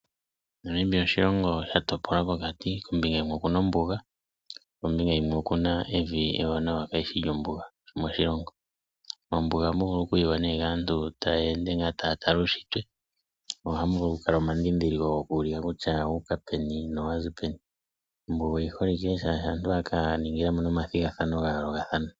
Namibia oshilongo sha topolwa pokati kombinga yinwe oku na ombuga yo yimwe oku na evi ewanawa kaa lishi lyombuga moshilongo. Mombuga oha mu vulu okuyiwa kaantu ta yeende taa tala uushitwe ohamu vulu wo okukala omandhindhiliko gokuulika kutya owuuka peni no wa zi peni. Ombuga oyi holike oshoka aantu ohaya ka ningilamo omathigathano ga yoolokathana.